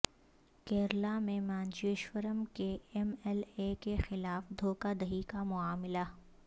کیرالہ میں مانجیشورم کے M L A کے خلاف دھوکہ دہی کا معاملہ